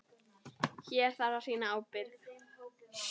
Hér þarf að sýna ábyrgð.